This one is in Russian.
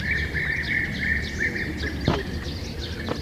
леонид анатольевич